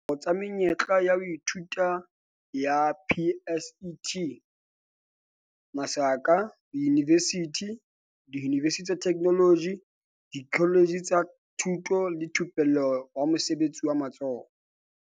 Dikopo tsa menyetla ya ho ithuta ya PSET diyunivesithi, diyunivesithi tsa Theknoloji, dikoletje tsa Thuto le Thupello ya Mosebetsi wa Matsoho